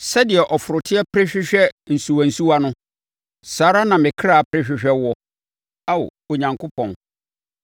Sɛdeɛ ɔforoteɛ pere hwehwɛ nsuwansuwa no, saa ara na me kra pere hwehwɛ wo, Ao Onyankopɔn.